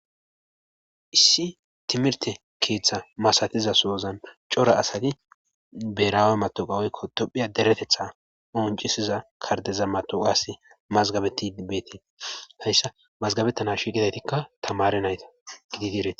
issi timirte keeththa masatiza soozan cora asati beraawe matoqawoykko dophiya deretetha oncisiza kardeza matoqas mazgabeti ibbeetii hayssa mazgabettana shiqidaytikka tamare nayta gidi deereti